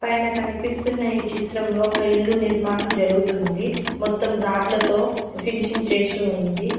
పైన కనిపిస్తున్న ఈ చిత్రంలో ఒక ఇల్లు నిర్మాణం జరుగుతుంది. మొత్తం రాడ్లతో ఫినిషింగ్ చేసి ఉంది.